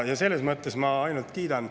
Selles mõttes ma ainult kiidan.